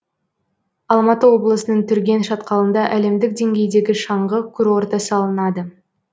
алматы облысының түрген шатқалында әлемдік деңгейдегі шаңғы курорты салынады